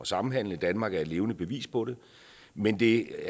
samhandle danmark er et levende bevis på det men det